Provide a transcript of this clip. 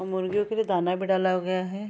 और मुर्गियों के लिए दाना भी डाला गया है।